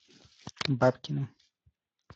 бабкиным